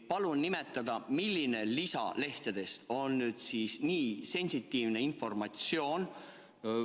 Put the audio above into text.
Palun nimetada, milline lisalehtedest on nüüd siis nii sensitiivse informatsiooniga.